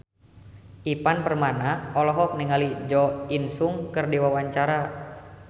Ivan Permana olohok ningali Jo In Sung keur diwawancara